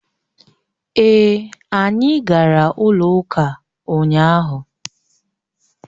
Èè, anyị gara ụlọ ụka ụnyaahụ